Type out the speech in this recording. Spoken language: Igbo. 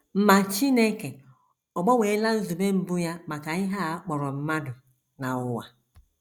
Ma Chineke ọ̀ gbanweela nzube mbụ ya maka ihe a kpọrọ mmadụ na ụwa?